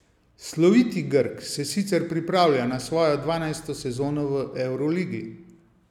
Sloviti Grk se sicer pripravlja na svojo dvanajsto sezono v evroligi.